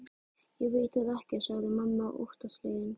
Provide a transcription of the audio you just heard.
Ég veit það ekki, sagði mamma óttaslegin.